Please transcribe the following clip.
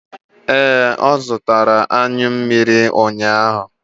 Ee, ọ zụtara anyụ mmiri ụnyaahụ.